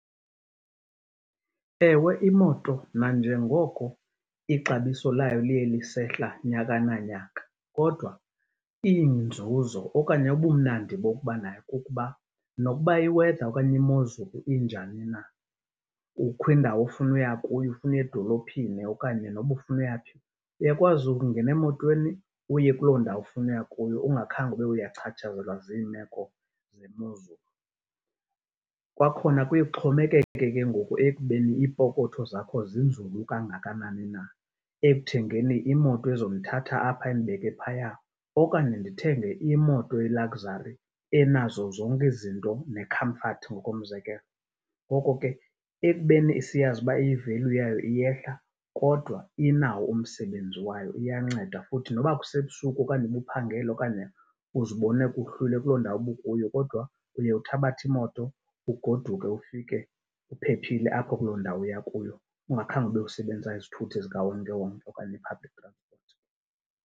Ewe, imoto nanjengoko ixabiso layo liye lisehla nyaka na nyaka kodwa iinzuzo okanye ubumnandi bokuba nayo kukuba, nokuba i-weather okanye imozulu injani na. Kukho indawo ofuna uya kuyo, ufuna uya edolophini okanye noba ufuna uya phi, uyakwazi ukungena emotweni uye kuloo ndawo ufuna uya kuyo ungakhange ube uyacatshazelwa ziimeko zemozulu. Kwakhona kuye kuxhomekeke ke ngoku ekubeni iipokotho zakho zinzulu kangakanani na ekuthengeni imoto ezomthatha apha indibeke phaya. Okanye ndithenge imoto ye-luxury enazo zonke ezi zinto ne-comfort ngokomzekelo. Ngoko ke ekubeni siyazi uba i-value yayo iyehla kodwa inawo umsebenzi wayo, iyanceda futhi. Nokuba kusebusuku okanye ubuphangele okanye uzibone kuhlwile kuloo ndawo ubukuyo, kodwa uye uthabathe imoto ugoduke ufike uphephile apho kuloo ndawo uya kuyo ungakhe ube usebenzisa izithuthi zikawonkewonke okanye i-public transport.